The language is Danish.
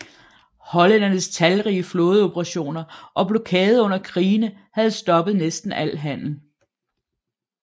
Hollændernes talrige flådeoperationer og blokade under krigene havde stoppet næsten al handel